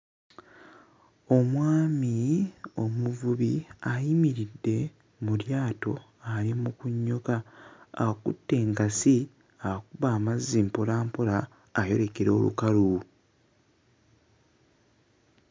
Omwami omuvubi ayimiridde mu lyato ali mu kunnyuka akutte engasi akuba amazzi mpola mpola ayolekera olukalu.